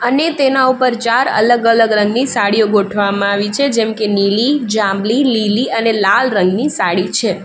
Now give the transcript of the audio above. અને તેના ઉપર ચાર અલગ અલગ રંગની સાડીઓ ગોઠવામાં આવી છે જેમ કે નીલી જાંબલી લીલી અને લાલ રંગની સાડી છે.